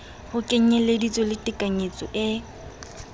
ho kenyeleditse le tekanyetso e